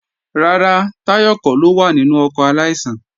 Rárá, Táyọ̀ kọ́ ló wà nínú ọkọ̀ aláìsàn